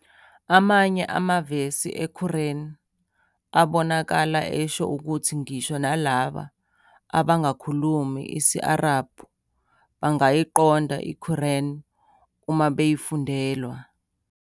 Amanye amavesi eQuran abonakala esho ukuthi ngisho nalabo abangakhulumi isi-Arabhu bangayiqonda iQuran uma beyifundelwa.